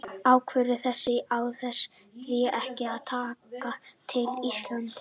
Ákvörðun þessi á því ekki að taka til Íslands.